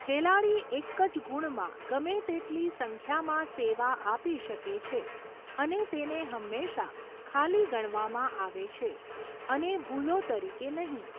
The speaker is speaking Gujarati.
ખેલાડી એક જ ગુણમાં ગમે તેટલી સંખ્યામાં સેવા આપી શકે છે અને તેને હંમેશાં ખાલી ગણવામાં આવે છે, અને ભૂલો તરીકે નહિ.